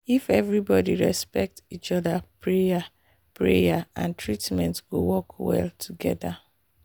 if everybody respect each other prayer prayer and treatment go work well together.